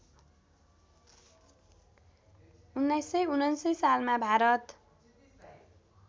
१९९९ सालमा भारत